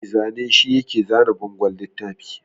Mai zane shi yake zana bangon littafi